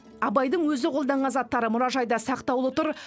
абайдың өзі қолданған заттары мұражайда сақтаулы тұр